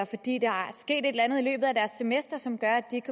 andet i løbet af deres semester som gør at de ikke